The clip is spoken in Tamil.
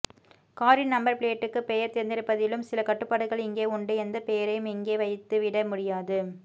காரின் நம்பர் பிளேட்டுக்கு பெயர் தேர்ந்தெடுப்பதிலும் சில கட்டுப்பாடுகள் இங்கே உண்டு எந்த பெயரையும் இங்கே வைட்துவிட முடியாது